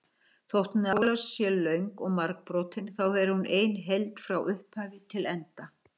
Þótt Njála sé löng og margbrotin þá er hún ein heild frá upphafi til enda.